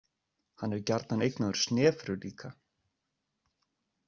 Hann er gjarnan eignaður Snefru líka.